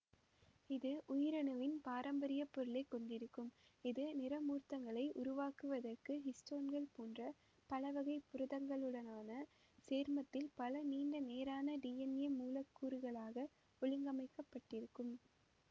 இது உயிரணுவின் பாரம்பரியப் பொருளை கொண்டிருக்கும் இது நிறமூர்த்தங்களை உருவாக்குவதற்கு ஹிஸ்டோன்கள் போன்ற பலவகைப் புரதங்ளுடனான சேர்மத்தில் பல நீண்ட நேரான டிஎன்ஏ மூலக்கூறுகளாக ஒழுங்கமைக்கப்பட்டிருக்கும்